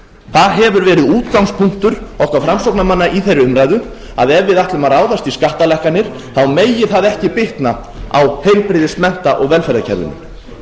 það hefur verið útgangspunktur okkar framsóknarmanna í þeirri umræðu að ef við ætlum að ráðast í skattalækkanir megi það ekki bitna á heilbrigðis mennta og velferðarkerfinu